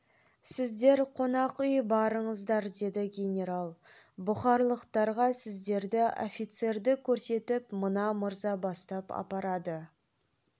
сіздер қонақ үй барыңыздар деді генерал бұхарлықтарға сіздерді офицерді көрсетіп мына мырза бастап апарады